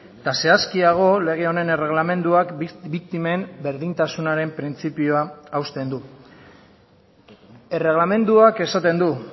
eta zehazkiago lege honen erregelamenduak biktimen berdintasunaren printzipioa hausten du erregelamenduak esaten du